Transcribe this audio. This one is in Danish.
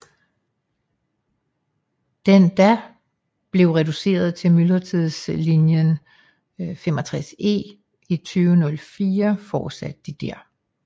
Den da blev reduceret til myldretidslinjen 65E i 2004 fortsatte de der